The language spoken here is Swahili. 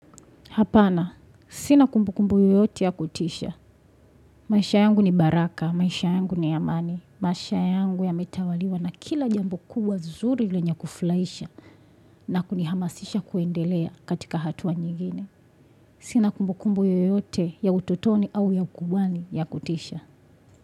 Hapana, sina kumbu kumbu yoyote ya kutisha. Maisha yangu ni baraka, maisha yangu ni amani. Maisha yangu yametawaliwa na kila jambo kubwa zuri lenye kufurahisha na kunihamasisha kuendelea katika hatua nyingine. Sina kumbu kumbu yoyote ya utotoni au ya ukubwani ya kutisha.